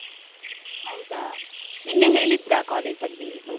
ಹೌದಾ, ನಿನ್ನೆ ಹೇಳಿದ್ರ college ಅಲ್ಲಿ?